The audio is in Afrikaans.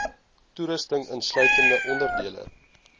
toerusting insluitend onderdele